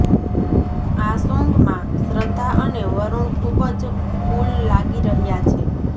આ સોન્ગમાં શ્રદ્ધા અને વરુણ ખૂબ જ કૂલ લાગી રહ્યાં છે